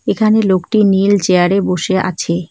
এখানে লোকটি নীল চেয়ারে বসে আছে।